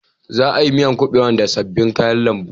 Za a yi miyar kubewar da sabbin kayan lambu.